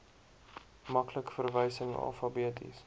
maklike verwysing alfabeties